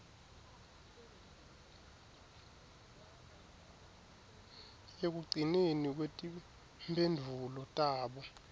ekugcineni kwetimphendvulo tabo